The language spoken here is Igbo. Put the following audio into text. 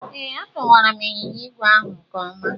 Ee, adọwara m ịnyịnya ígwè ahụ nke ọma.